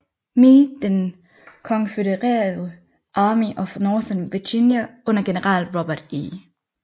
Meade den konfødererede Army of Northern Virginia under general Robert E